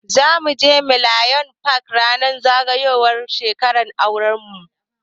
Zamu je millennium park ranar zagayowar shekarar auran mu.